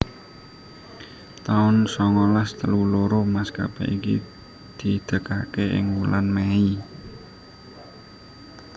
taun songolas telu loro maskapai iki didegaké ing wulan Mei